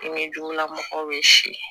Ɲɛjugula mɔgɔw ye si